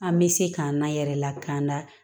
An bɛ se k'an n'an yɛrɛ lakana